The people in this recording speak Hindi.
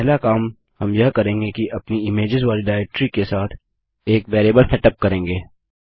पहला काम हम यह करेंगे कि अपनी इमेज्स वाली डाइरेक्टरी के साथ एक वेरिएबल सेटअप करेंगे